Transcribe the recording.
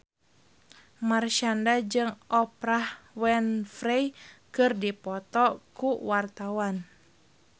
Marshanda jeung Oprah Winfrey keur dipoto ku wartawan